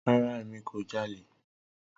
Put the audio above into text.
Rara, Emi ko jale.